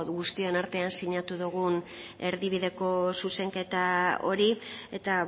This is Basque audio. guztion artean sinatu dugun erdibideko zuzenketa hori eta